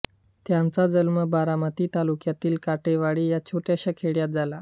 त्यांचा जन्म बारामती तालुक्यातल्या काटेवाडी या छोट्याशा खेड्यात झाला